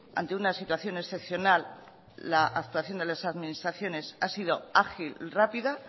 ante una situación excepcional la actuación de las administraciones ha sido ágil rápida